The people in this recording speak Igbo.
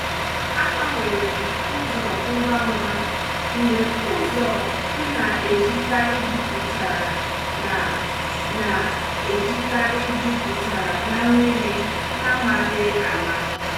Agbanwerem ụzọ ngwa ngwa mgbe ụzọ m na-ejikarị jupụtara na na-ejikarị jupụtara na mmiri n’amaghị ama.